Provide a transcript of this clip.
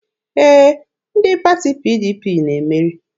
Ee, ndị pati PDP na-emeri.